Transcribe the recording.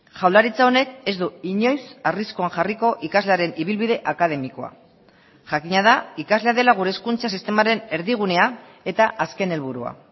jaurlaritza honek ez du inoiz arriskuan jarriko ikaslearen ibilbide akademikoa jakina da ikaslea dela gure hezkuntza sistemaren erdigunea eta azken helburua